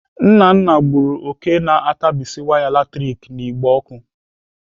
Nnanna gburu òké na-atabisi waya latrik n'igbe ọkụ.